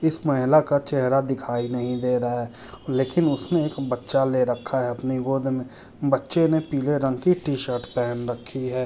इस महिला का चेहरा दिखाई नहीं दे रहा है। लेकिन उसने एक बच्चा ले रखा है अपने गौद में बच्चे ने पिले रंग की टी-शर्ट पेहेन रखी है।